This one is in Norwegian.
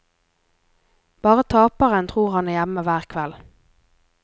Bare taperen tror han er hjemme hver kveld.